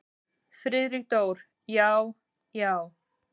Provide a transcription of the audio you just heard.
Friðrik Dór: Já. já.